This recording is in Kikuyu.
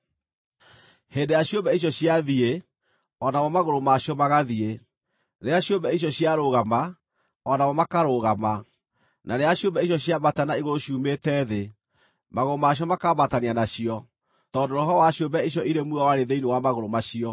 Hĩndĩ ĩrĩa ciũmbe icio ciathiĩ, o namo magũrũ ma cio magathiĩ; rĩrĩa ciũmbe icio ciarũgama, o namo makarũgama; na rĩrĩa ciũmbe icio ciambata na igũrũ ciumĩte thĩ, magũrũ macio makambatania nacio, tondũ roho wa ciũmbe icio irĩ muoyo warĩ thĩinĩ wa magũrũ macio.